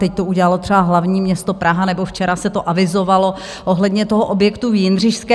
Teď to udělalo třeba hlavní město Praha, nebo včera se to avizovalo, ohledně toho objektu v Jindřišské.